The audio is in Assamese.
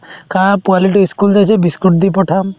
খা পোৱালিটো ই school biscuit দি পঠাম